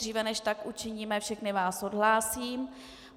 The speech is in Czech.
Dříve, než tak učiníme, všechny vás odhlásím.